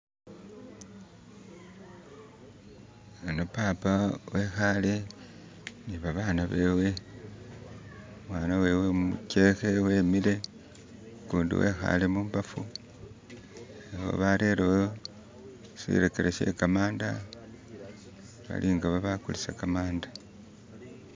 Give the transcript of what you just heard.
khano papa wekhale nibabana bewe umwana wewe umichekhe wemile kundi wekhale mubafu barelewo shilekelo shekamanda balinga babakulisa khamanda